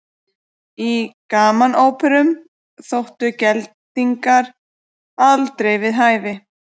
Í gamanóperum þóttu geldingar aldrei við hæfi.